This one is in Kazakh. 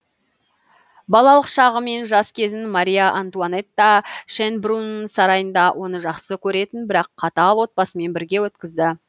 балалық шағы мен жас кезін мария антуанетта шенбрунн сарайында оны жақсы көретін бірақ қатал отбасымен бірге өткізді